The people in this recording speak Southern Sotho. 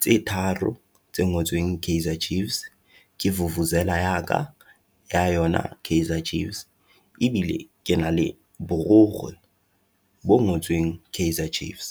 tse tharo tse ngotsweng Kaizer Chiefs, ke vuvuzela yaka ya yona Kaizer Chiefs, ebile ke na le borikgwe bo ngotsweng Kaizer Chiefs.